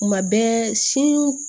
Kuma bɛɛ sin